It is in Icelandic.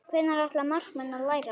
Hvenær ætla markmenn að læra?